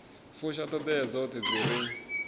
fusha ṱhoḓea dzoṱhe dzi re